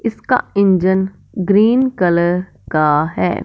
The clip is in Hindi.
इसका इंजन ग्रीन कलर का है।